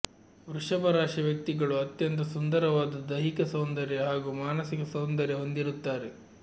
ವೃಷಭ ರಾಶಿ ವ್ಯಕ್ತಿಗಳು ಅತ್ಯಂತ ಸುಂದರವಾದ ದೈಹಿಕ ಸೌಂದರ್ಯ ಹಾಗೂ ಮಾನಸಿಕ ಸೌಂದರ್ಯ ಹೊಂದಿರುತ್ತಾರೆ